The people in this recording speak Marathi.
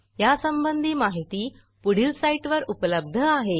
यासंबंधी माहिती पुढील साईटवर उपलब्ध आहे